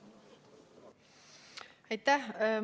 Aitäh!